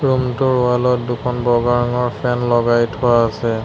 Room টোৰ wall ত দুখন বগা ৰঙৰ ফেন লগাই থোৱা আছে।